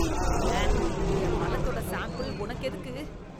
உவ்வே. என் மலத்தோட சாம்பிள் உனக்கு எதுக்கு?